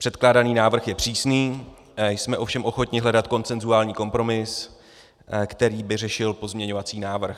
Předkládaný návrh je přísný, jsme ovšem ochotni hledat konsenzuální kompromis, který by řešil pozměňovací návrh.